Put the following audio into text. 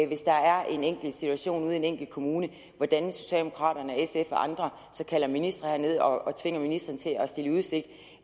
hvis der er en enkelt situation ude i en enkelt kommune for hvordan socialdemokraterne og sf og andre så kalder ministre herned og tvinger ministrene til at stille i udsigt